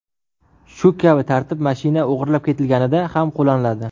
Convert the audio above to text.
Shu kabi tartib mashina o‘g‘irlab ketilganida ham qo‘llaniladi.